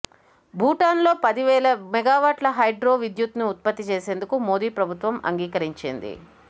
భూటాన్లో పదివేల మెగావాట్ల హైడ్రో విద్యుత్ను ఉత్పత్తి చేసేందుకు మోదీ ప్రభుత్వం అంగీకరించింది